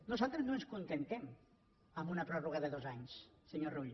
nosaltres no ens acontentem amb una pròrroga de dos anys senyor rull